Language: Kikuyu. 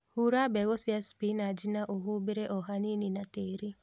Hura mbegũ cia spinach na ũhumbĩre o hanini na tĩri